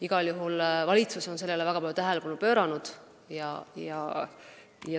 Igal juhul on valitsus sellele juba väga palju tähelepanu pööranud.